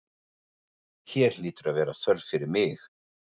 Hér hlýtur að vera þörf fyrir mig.